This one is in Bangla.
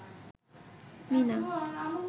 মীনা